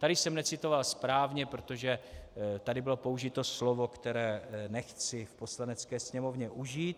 Tady jsem necitoval správně, protože tady bylo použito slovo, které nechci v Poslanecké sněmovně užít.